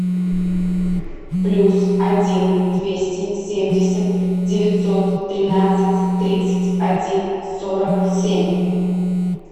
плюс один двести семьдесят девятьсот тринадцать тридцать один сорок семь